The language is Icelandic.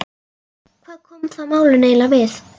Hvað koma það málinu eiginlega við?